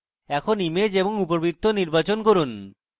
এখন image এবং উপবৃত্ত নির্বাচন করুন